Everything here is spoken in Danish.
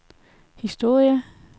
historie